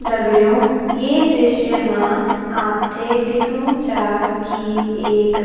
दगडियों ये दृश्य मा आपथे दिख्णु चा की एक --